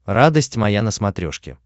радость моя на смотрешке